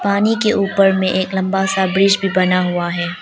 पानी के ऊपर में एक लंबा सा ब्रिज भी बना हुआ है।